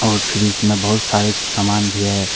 और फ्रिज में बहुत सारे सामान भी है।